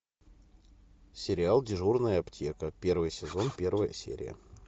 сериал дежурная аптека первый сезон первая серия